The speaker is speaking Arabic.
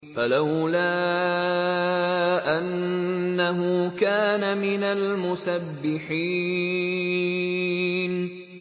فَلَوْلَا أَنَّهُ كَانَ مِنَ الْمُسَبِّحِينَ